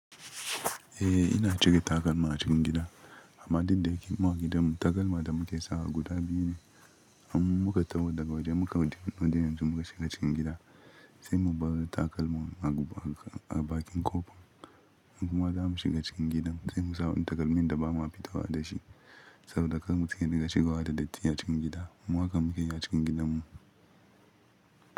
Eh ina cike takalma a cikin gida, amma daddare ki mu a gidanmu takalma da muke sawa guda biyu ne. In muka taho daga waje muka wuce nudin yanzu muka shiga cikin gida sai mu barar takalman a bakin ƙofa. In kuma za mu shiga cikin gidan sai mu sa wani takalmin da ba mu fi tahawa da shi saboda kar mu tsinke da shigowa da datti a cikin gida. Mu hakan muke yi a cikin gidanmu.